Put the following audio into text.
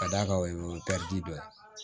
Ka d'a kan o ye dɔ ye